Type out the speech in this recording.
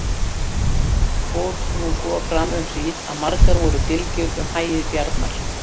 Fór nú svo fram um hríð að margar voru dylgjur um hagi Bjarnar.